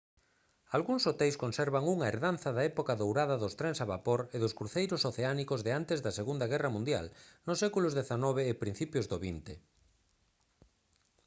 algúns hoteis conservan unha herdanza da época dourada dos trens a vapor e dos cruceiros oceánicos de antes da segunda guerra mundial nos séculos xix e principios do xx